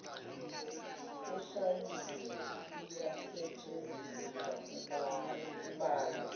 eshayiwe iyasetshenziswa kubalwa